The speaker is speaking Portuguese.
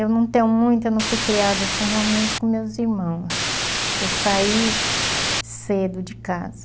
Eu não tenho muito, eu não fui criada assim realmente com meus irmãos, porque eu saí cedo de casa.